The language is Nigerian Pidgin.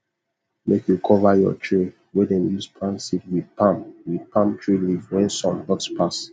make you cover your tray wey dem use plant seed with palm with palm tree leaf when sun hot pass